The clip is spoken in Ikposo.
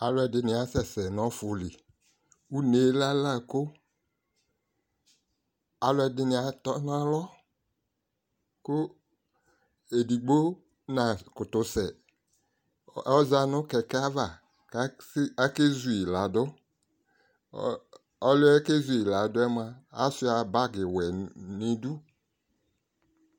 Aluɛdini kasɛsɛ nu ɔfili une lɛ ala go aluɛdini atɔnalɔ ku edigbo nakutu sɛ oza nu kɛkɛ ayava ku akezuladu ɔliɛ kezu ladu yɛ mua ashua bagi wɛ nu idu